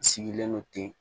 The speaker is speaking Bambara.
N sigilen don ten